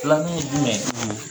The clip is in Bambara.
Filaninw jumɛn,